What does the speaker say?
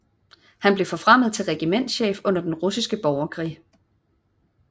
Han blev forfremmet til regimentschef under den russiske borgerkrig